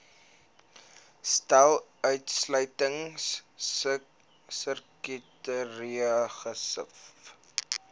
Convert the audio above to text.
stel uitsluitingskriteria gesif